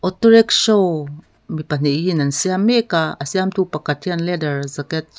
auto rickshaw mi pahnihin an siam mek a a siamtu pakhat hian leather jacket --